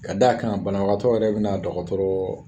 Ka d'a kan banabagatɔ yɛrɛ bɛna dɔgɔtɔrɔ